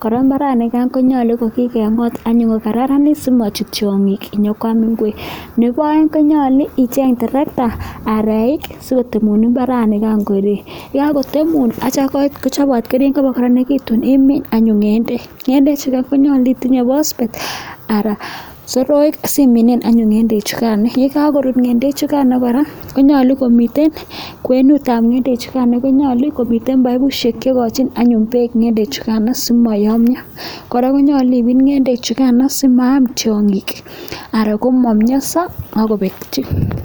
kora mbaran nikonyalu kokakengot anyun kokararanit simachut tiangik nyokwam ngwek. nebaeng konyalu icheng trekta anan aeik sikotemun mbaranikai atiam kakotemun atiam kochopat keringok atiam igol anyun ngendek. ngendek chukain konyalu itinye phospate anan simine ngendek chukain .ye kakorut ngendek chugain kora koyache komitei kwen nebangendek chukain konyalu komitei paipushek cheikachin pek ngedek chugain simayamya. kora koyache irip ngendek chungain simaam tiangik anan komamyansa akobek chu.